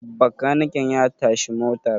bakaniken ya tashi motar?